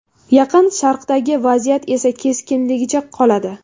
Yaqin Sharqdagi vaziyat esa keskinligicha qoladi.